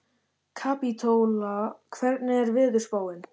Kapítóla, hvernig er veðurspáin?